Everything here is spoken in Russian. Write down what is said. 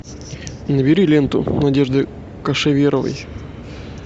набери ленту надежды кошеверовой